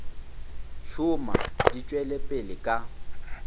šoma di tšwela pele ka